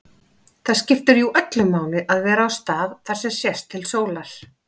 Það skiptir jú öllu máli að vera á stað þar sem sést til sólar.